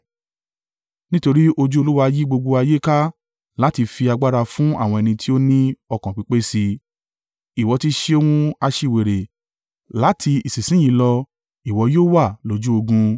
Nítorí ojú Olúwa yí gbogbo ayé ká láti fi agbára fún àwọn ẹni tí ó ní ọkàn pípé sí i. Ìwọ ti ṣe ohun aṣiwèrè, láti ìsinsin yìí lọ, ìwọ yóò wà lójú ogun.”